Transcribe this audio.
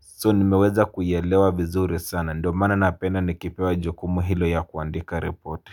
So nimeweza kuielewa vizuri sana ndio mana napenda nikipewa jukumu hilo ya kuandika ripoti.